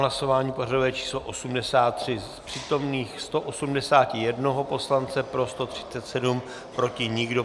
Hlasování pořadové číslo 83, z přítomných 181 poslance pro 137, proti nikdo.